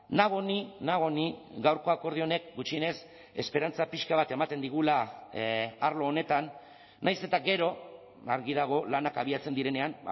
nago ni nago ni gaurko akordio honek gutxienez esperantza pixka bat ematen digula arlo honetan nahiz eta gero argi dago lanak abiatzen direnean